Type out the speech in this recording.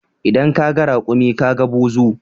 In ka ga rakumi ka ga buzu